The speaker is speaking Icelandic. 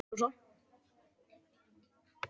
Já, sagði Rósa.